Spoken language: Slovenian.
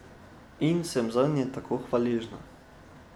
In sem zanje tako hvaležna!